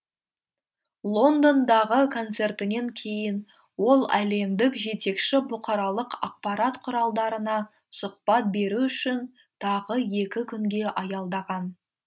лондондағы концертінен кейін ол әлемдік жетекші бұқаралық ақпарат құралдарына сұқбат беру үшін тағы екі күнге аялдаған